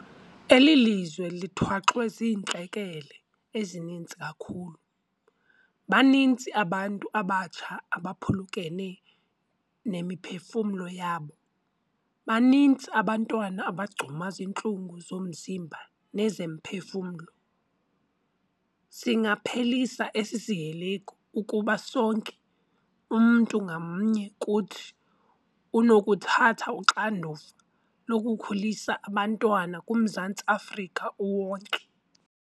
Eli lizwe lithwaxwe ziintlekele ezininzi kakhulu. Baninzi abantu abatsha abaphulukene nemiphefumlo yabo, baninzi abantwana abagcuma zintlungu zomzimba nezomphefumlo. Singasiphelisa esi sihelegu ukuba sonke, umntu ngamnye kuthi, unokuthatha uxanduva lokukhulisa abantwana kuMzantsi Afrika uwonke.